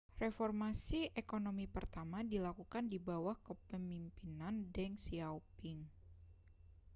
reformasi ekonomi pertama dilakukan di bawah kepemimpinan deng xiaoping